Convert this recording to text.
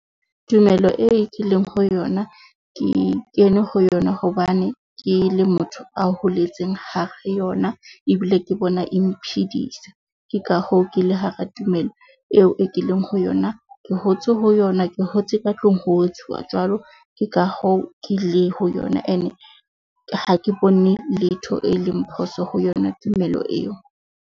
Tumello e ke leng ho yona ke kene ho yona hobane ke le motho a holetseng, hare ho yona ebile ke bona e mphidisa. Ke ka hoo ke le hara tumelo eo e ke leng ho yona. Ke hotse ho yona, ke hotse ka tlung ho etsuwa jwalo ka hoo ke le ho yona. And ha ke bone letho e leng phoso ho yona tumelo eo.